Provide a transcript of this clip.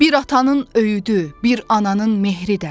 Bir atanın öyüdü, bir ananın mehri də.